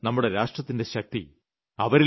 അവരാണ് നമ്മുടെ രാഷ്ട്രത്തിന്റെ ശക്തി